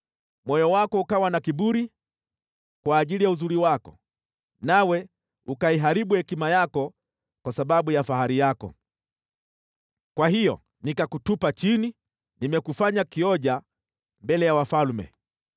Moyo wako ukawa na kiburi kwa ajili ya uzuri wako, nawe ukaiharibu hekima yako kwa sababu ya fahari yako. Kwa hiyo nikakutupa chini; nimekufanya kioja mbele ya wafalme.